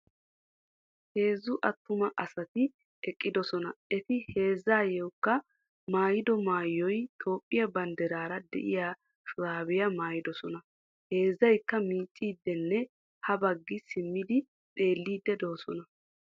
Heezzu attuma asati eqqidosona. Eti heezzaykka maayido maayoy Toophphiya banddiraara de'iya shuraabiya mayidosona. Heezzaykka miicciiddinne ha baggi simmidi xeelliiddi de'oosona.